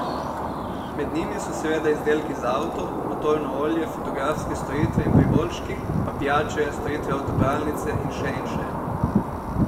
Med njimi so seveda izdelki za avto, motorno olje, fotografske storitve in priboljški, pa pijače, storitve avtopralnice in še in še.